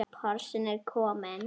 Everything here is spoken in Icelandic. Porsinn er kominn.